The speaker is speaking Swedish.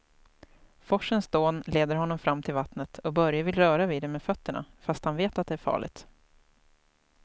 Forsens dån leder honom fram till vattnet och Börje vill röra vid det med fötterna, fast han vet att det är farligt.